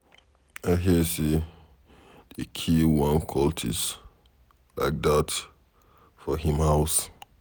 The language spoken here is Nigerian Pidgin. I hear say dey kill one cultist like dat for him house